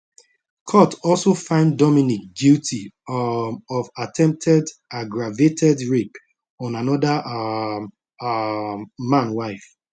court also find dominique guilty um of attempted aggravated rape on anoda um um man wife